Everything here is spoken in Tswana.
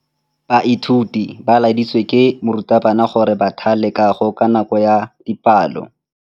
Baithuti ba laeditswe ke morutabana gore ba thale kagô ka nako ya dipalô.